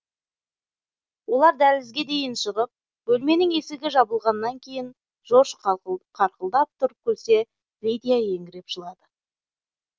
олар дәлізге дейін шығып бөлменің есігі жабылғаннан кейін жорж қарқылдап тұрып күлсе лидиа еңіреп жылады